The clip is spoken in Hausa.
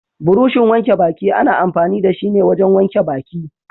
Burushin wanke baki ana amfani da shi ne wajen wanke baki.